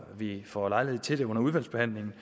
vi får lejlighed til det under udvalgsbehandlingen